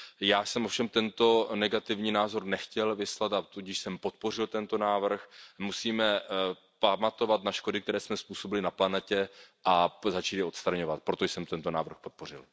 Já jsem ovšem tento negativní názor nechtěl vyslat, a tudíž jsem podpořil tento návrh. Musíme pamatovat na škody, které jsme způsobili na planetě a začít je odstraňovat, proto jsem tento návrh podpořil.